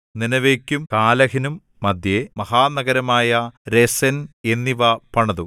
നീനെവേയ്ക്കും കാലഹിനും മദ്ധ്യേ മഹാനഗരമായ രേസെൻ എന്നിവ പണിതു